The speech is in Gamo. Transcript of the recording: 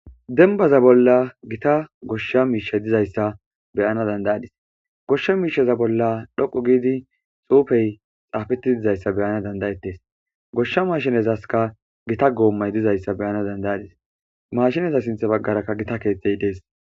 Denbaza bolla gita goshsha miishey dizayssa beyana dandayadis goshsha miishaza bolla dhoqo giidi xuufey xaafeti dizayssa beyana dandayettes goshsha maashinezaska gita goommay dizayssa beyana dandayadis mashineza sintha baggarakka gita keethtey dees